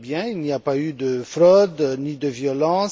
Il n'y a pas eu de fraude ni de violences.